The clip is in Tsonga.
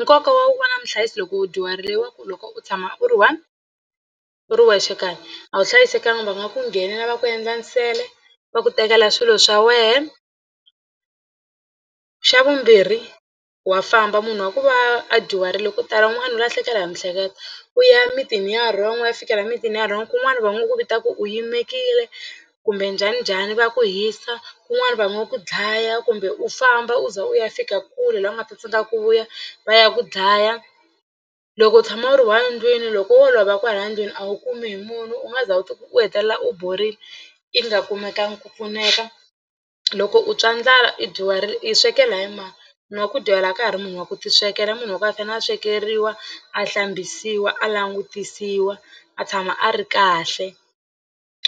Nkoka wa ku va na muhlayisi loko u dyuharile wa ku loko u tshama u ri one u ri wexe kaya a wu hlayisekanga va nga ku nghena va ku endla nsele va ku tekela swilo swa wehe. Xa vumbirhi wa famba munhu wa ku va a dyuharile ko tala un'wana u lahlekela hi miehleketo u ya mitini ya wrong u ya fikela mitini ya wrong kun'wani va ngo ku vita ku u yimekile kumbe njhaninjhani va ku hisa kun'wani va nga ku dlaya kumbe u famba u za u ya fika kule laha u nga ta tsandzeka ku vuya va ya ku dlaya. Loko u tshama u ri one ndlwini loko wo lova kwalaya ndlwini a wu kumi hi munhu u nga za u u hetelela u borile i nga kumekangi ku pfuneka. Loko u twa ndlala i dyuharile i swekela hi mani munhu wa ku dyuhala a ka ha ri munhu wa ku tiswekela i munhu wa ku a fanele a swekeriwa a hlambisiwa a langutisiwa a tshama a ri kahle